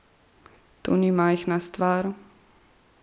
To ni majhna stvar.